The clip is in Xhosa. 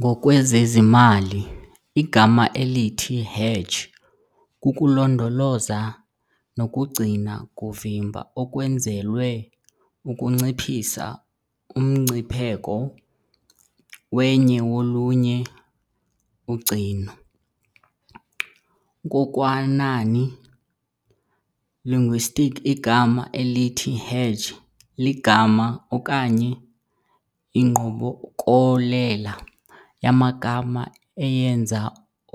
Ngokwezezimali, igama elithi hedge kukulondoloza nokugcina kuvimba okwenzelwe ukunciphisa umngcipheko wenye wolunye ugcino. nkokwanani linguistics igama elithi hedge ligama okanye ingqokolela yamagama eyenza